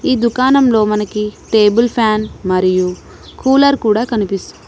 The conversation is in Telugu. ఈ దుకాణంలో మనకి టేబుల్ ఫ్యాన్ మరియు కూలర్ కూడా కనిపిస్ --